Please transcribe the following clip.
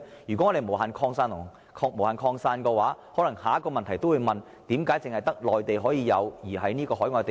如果能夠無限擴展，下一個問題便是為何只適用於內地而非海外地方？